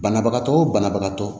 Banabagatɔ o banabagatɔ